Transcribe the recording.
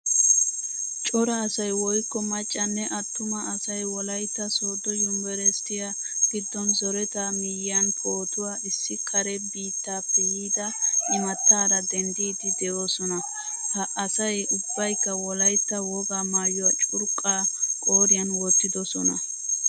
Cora asay woykko maccanne attumaa asay wolaytta soodo yunvrshiyaa giddon zoretta miyiyan pootuwaa issi kare biittappe yiida imataara denddidi deosona. Ha asay ubbaykka wolaytta wogaa maayuwaa curqqa qoriyan wottidosona.